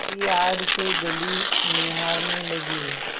की आड़ से गली निहारने लगी